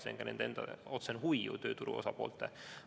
See on ka nende enda, tööturu osapoolte otsene huvi.